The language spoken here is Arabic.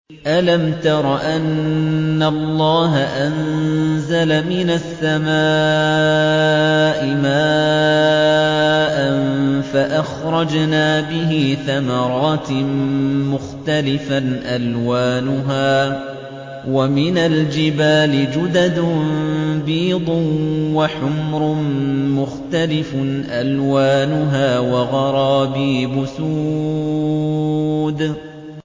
أَلَمْ تَرَ أَنَّ اللَّهَ أَنزَلَ مِنَ السَّمَاءِ مَاءً فَأَخْرَجْنَا بِهِ ثَمَرَاتٍ مُّخْتَلِفًا أَلْوَانُهَا ۚ وَمِنَ الْجِبَالِ جُدَدٌ بِيضٌ وَحُمْرٌ مُّخْتَلِفٌ أَلْوَانُهَا وَغَرَابِيبُ سُودٌ